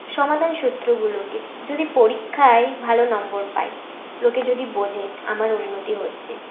সমাধান সূত্র গুলোকে যদি পরীক্ষায় ভালো নম্বর পাই লোকে যদি বোঝে আমার উন্নতি হচ্ছে